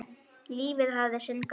Lífið hafði sinn gang.